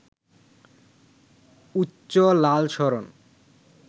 উচ্চ লাল সরণ